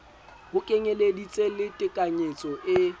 ho kenyeleditse le tekanyetso e